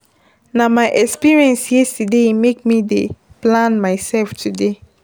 Na my experience yesterday make me dey plan mysef today.